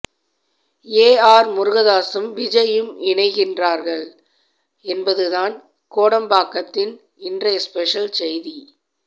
AR முருகதாஸும் விஜய்யும் இணைகிறார்கள் என்பதுதான் கோடம்பாக்கத்தன் இன்றைய ஸ்பெஷல் செய்தி